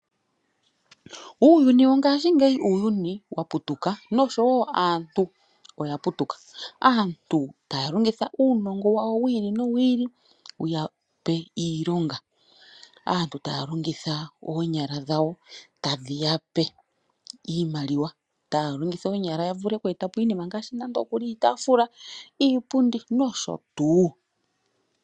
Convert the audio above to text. Uuyuni wo ngaashi ngeyi uuyuni wa putuka naantu oya putuka, aantu taya longita uunongo wawa wili nowi ili wuya pe iilonga. Aantu taya longitha oonyala dhawo tadhi ya pe iimaliwa taya longitha oonyala ya vule oku etapo iinima ngaashi nando okuli iitafula, iipundi nosho tuu.